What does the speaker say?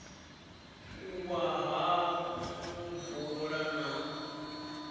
u wa ha muvula na